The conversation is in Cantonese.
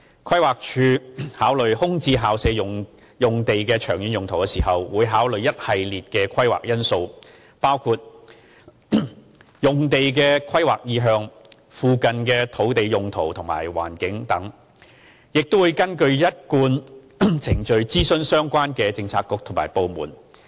規劃署考慮空置校舍用地的長遠用途時，會考慮一系列規劃因素，包括用地的規劃意向、附近的土地用途和環境等，亦會根據一貫程序諮詢相關政策局及部門。